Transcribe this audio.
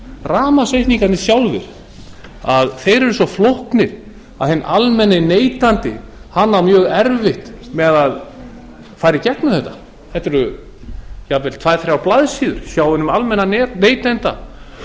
rafmagnsreikningarnir sjálfir eru svo flóknir að hinn almenni neytandi á mjög erfitt með að fara í gegnum þetta þetta eru jafnvel tvö til þrjár blaðsíður hjá hinum almenna neytanda sem